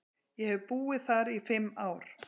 Ég hef búið þar í fimm ár.